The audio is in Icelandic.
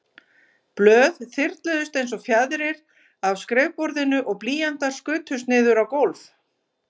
Blöð þyrluðust einsog fjaðrir af skrifborðinu og blýantar skutust niður á gólf.